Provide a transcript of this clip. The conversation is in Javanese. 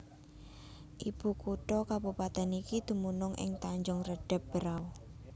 Ibu kutha kabupatèn iki dumunung ing Tanjung Redeb Berau